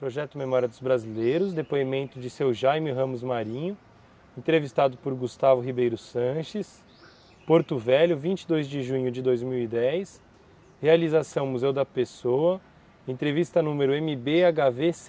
Projeto Memória dos Brasileiros, depoimento de seu Jaime Ramos Marinho, entrevistado por Gustavo Ribeiro Sanches, Porto Velho, 22 de junho de 2010, realização Museu da Pessoa, entrevista número MB-HV124.